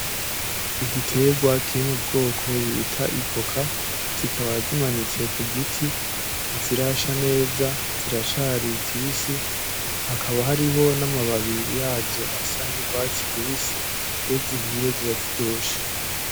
Igiterwa kiri mu bwoko bitwa ivoka, zikaba zimanitse kugiti ntizirasha neza ziracari zibisi hakaba hariho n'amababi yazo asa n'urwatsi rubisi ,iyo zihiye ziba ziryoshe.